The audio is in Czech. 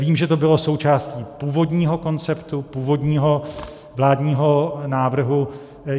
Vím, že to bylo součástí původního konceptu, původního vládního návrhu.